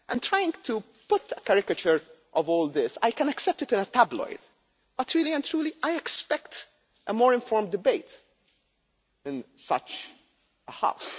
Trying to put a caricature of all this I can accept it in a tabloid, but really and truly, I expect a more informed debate in such a House.